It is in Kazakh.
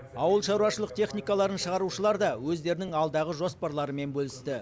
ауылшаруашылық техникаларын шығарушылар да өздерінің алдағы жоспарларымен бөлісті